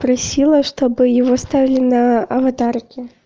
просила чтобы его оставили на аватарке